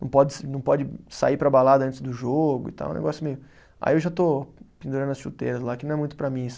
Não pode se, não pode sair para a balada antes do jogo e tal, é um negócio meio. Aí eu já estou pendurando as chuteiras lá, que não é muito para mim isso